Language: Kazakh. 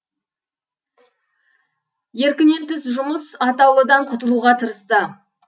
еркінен тыс жұмыс атаулыдан құтылуға тырысты